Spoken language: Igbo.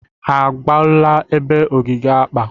Ha agabula ebe ogige akpa?